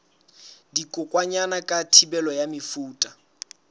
dikokwanyana ka thibelo ya mefuta